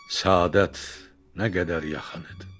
Səadət nə qədər yalan idi.